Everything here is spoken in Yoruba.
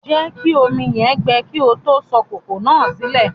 Jẹ̀kí omi yẹn gbẹ̀ kí o tó sọ kòkò náà silẹ̀